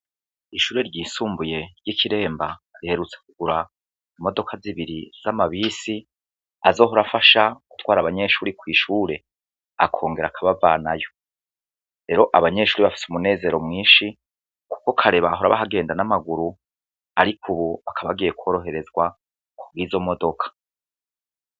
Ishure ryisumbuye ry'ikiremba riherutse kugura imodoka zibiri z'amabisi azohora afasha gutwara abanyeshuri kw'ishure akongera akabavanayo, rero abanyeshuri bafise umunezero mwinshi, kuko kare bahora bahagenda n'amaguru ariko ubu bakaba bagiye kworoherezwa kubwizo modoka.